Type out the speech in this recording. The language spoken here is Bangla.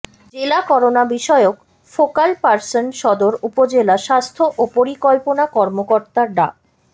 জেলা করোনা বিষয়ক ফোকাল পারসন সদর উপজেলা স্বাস্থ্য ও পরিকল্পনা কর্মকর্তা ডা